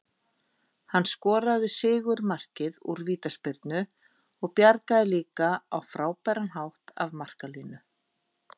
Hann skoraði sigurmarkið úr vítaspyrnu og bjargaði líka á frábæran hátt af marklínu.